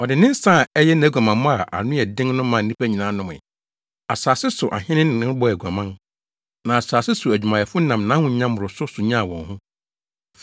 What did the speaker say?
Ɔde ne nsa a ɛyɛ nʼaguamammɔ a ano yɛ den no maa nnipa nyinaa nomee. Asase so ahene ne no bɔɔ aguaman, na asase so adwumayɛfo nam nʼahonya mmoroso so nyaa wɔn ho.”